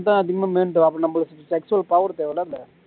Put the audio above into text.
இதான் அதிகமா main உ அப்பறம் நம்மளுக்கு sexual power தேவை இல்ல